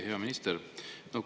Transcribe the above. Hea minister!